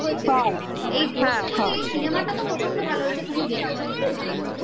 এই cinema টা প্রচণ্ড ভালো হয়েছে তুমি দেখো সত্যি ভালো হয়েছে খুব